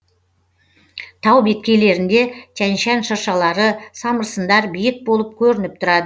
тау беткейлерінде тянь шань шыршалары самырсындар биік болып көрініп тұрады